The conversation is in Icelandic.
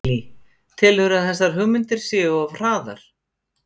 Lillý: Telurðu að þessar hugmyndir séu of hraðar?